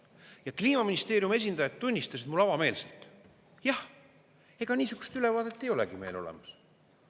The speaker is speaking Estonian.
Ja Kliimaministeeriumi esindajad tunnistasid mulle avameelselt: "Jah, ega niisugust ülevaadet ei olegi meil olemas.